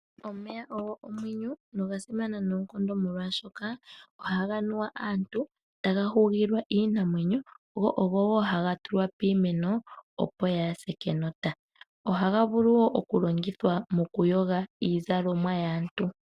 Omeya ogo omwenyo noga simana noonkondo molwashoka, ohaga nuwa kaantu, taga hugile iinamwenyo, go ogo wo haga tulwa piimeno opo yaase kenota. Ohaga vulu wo okulongithwa mokuyoga iizalomwa yaantu.